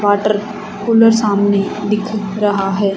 Water cooler सामने दिख रहा हैं।